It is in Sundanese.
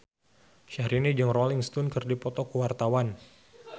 Syahrini jeung Rolling Stone keur dipoto ku wartawan